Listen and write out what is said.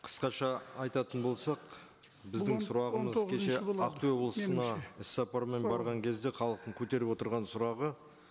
қысқаша айтатын болсақ біздің сұрағымыз кеше ақтөбе облысына іс сапармен барған кезде халықтың көтеріп отырған сұрағы